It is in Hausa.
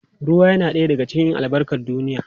Ruwa yana ɗaya daga cikin albarkar duniya.